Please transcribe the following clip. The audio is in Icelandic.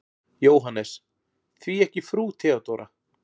JÓHANNES: Því ekki frú Theodóra?